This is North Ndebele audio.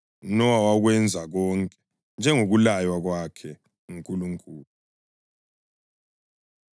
UNowa wakwenza konke njengokulaywa kwakhe nguNkulunkulu.